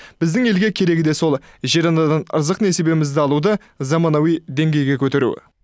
біздің елге керегі де сол жер анадан ырзық несібемізді алуды заманауи деңгейге көтеру